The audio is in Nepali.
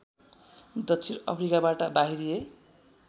दक्षिण अफ्रिकाबाट बाहिरिए